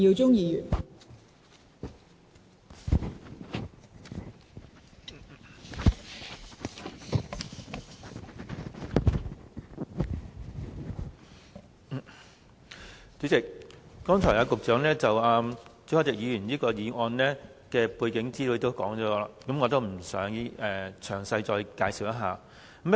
代理主席，局長剛才指出朱凱廸議員議案的背景資料，我不再詳細介紹。